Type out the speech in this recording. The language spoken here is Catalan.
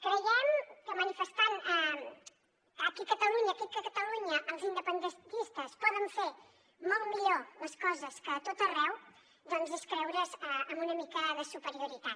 creiem que manifestant que aquí a catalunya els independentistes poden fer molt millor les coses que a tot arreu doncs és creure’s amb una mica de superioritat